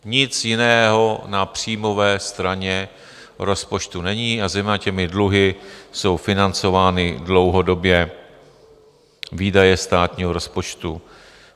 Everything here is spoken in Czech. Nic jiného na příjmové straně rozpočtu není a zejména těmi dluhy jsou financovány dlouhodobě výdaje státního rozpočtu.